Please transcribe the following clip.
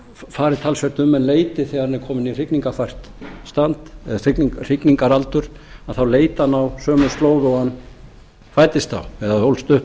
fari talsvert um en leiti þegar hann er kominn í hrygningarfært ástandi eða hrygningaraldur að þá leiti hann á sömu slóð og hann fæddist á eða ólst upp